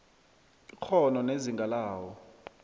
ikghono nezinga lawo